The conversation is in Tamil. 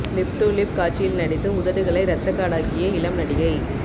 லிப் டூ லிப் காட்சியில் நடித்து உதடுகளை ரத்தக்காடாக்கிய இளம் நடிகை